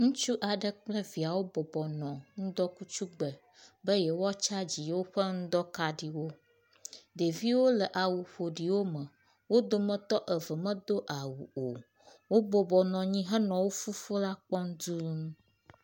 Ŋutsu aɖe kple viawo bɔbɔ nɔ ŋdɔkutsu gbe be yewoa tsagi yewoƒe ŋdɔkaɖiwo. Ɖeviwo le awu ƒoɖiwo me. Wo dometɔ eve medo awu o. Wobɔbɔ nɔ anyi henɔ wo fofo la kpɔm dũu.